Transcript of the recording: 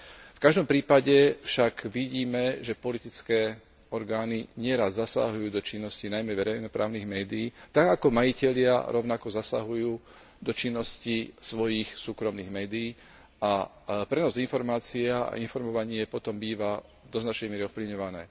V každom prípade však vidíme, že politické orgány neraz zasahujú do činnosti najmä verejnoprávnych médií, tak ako majitelia rovnako zasahujú do činnosti svojich súkromných médií, a pre nás informácia a informovanie potom býva do značnej miery ovplyvňované.